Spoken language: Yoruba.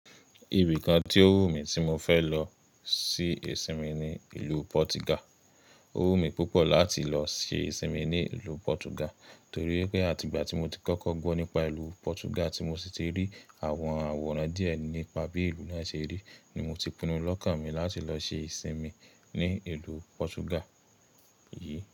Ibi kan tí ó wù mí tí mo fẹ́ lọ ṣi ìsinmi ni ìlú Portugal. Ó wù mí púpọ̀ láti lọ ṣe ìsinmi ní ìlú Portugal, torí pé àti ìgbà tí mo ti kọ́kọ́ gbọ́ nípa ìlú Portugal tí mo sì ti rí àwọn àwòrán díẹ̀ nípa bí ìlú náà ṣe rí, ni mo ti pinnu lọ́kàn mi láti lọ ṣe ìsinmi ní ìlú Portugal yìí.